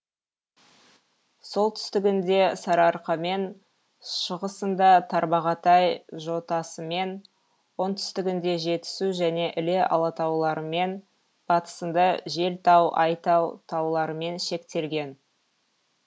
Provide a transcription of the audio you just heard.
солтүстігінде сарыарқамен шығысында тарбағатай жотасымен оңтүстігінде жетісу және іле алатауларымен батысында желтау айтау тауларымен шектелген